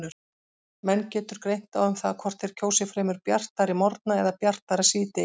Menn getur greint á um það hvort þeir kjósi fremur bjartari morgna eða bjartara síðdegi.